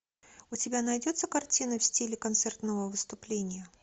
у тебя найдется картина в стиле концертного выступления